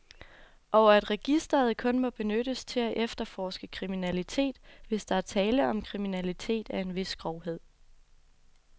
Og at registeret kun må benyttes til at efterforske kriminalitet, hvis der er tale om kriminalitet af en vis grovhed.